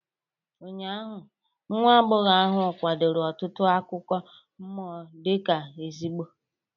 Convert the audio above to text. Ụnyaahụ, nwa agbọghọ ahụ kwadoro ọtụtụ akụkọ mmụọ dị ka ezigbo